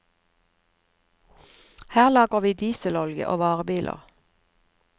Her lagrer vi dieselolje og varebiler.